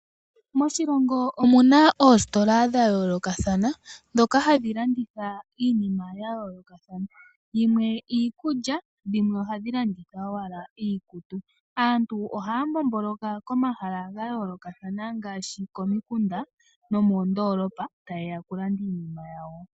Moshilongo omuna oositola dha yoolokathana ndhoka hadhi landitha iinima ya yoolokathana, yimwe iikulya dhimwe ohadhi landitha owala iikutu. Aantu ohaya mbomboloka komahala ga yoolokathana ngaashi komikunda nomoondoolopa taye ya okulanda iinima yawo.